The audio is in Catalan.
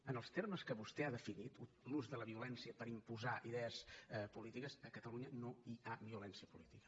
en els termes que vostè l’ha definit l’ús de la violència per imposar idees polítiques a catalunya no hi ha violència política